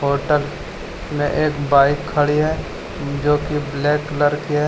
Hotel में एक bike खड़ी है जो की ब्लैक कलर की है।